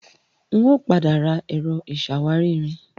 N ò padà ra Ẹ̀rọ ìṣàwárí-irin